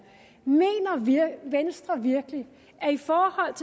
mener venstre virkelig at i forhold